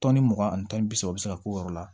mugan ani tan ni bi seegi u bɛ se ka k'o yɔrɔ la